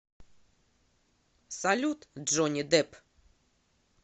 салют джонни дэпп